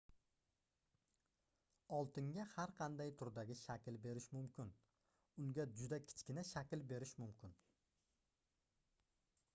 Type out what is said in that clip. oltinga har qanday turdagi shakl berish mumkin unga juda kichkina shakl berish mumkin